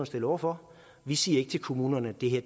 stillet over for vi siger ikke til kommunerne at det her